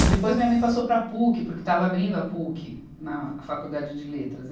E depois minha mãe passou para a Puc, porque estava abrindo a Puc na Faculdade de Letras.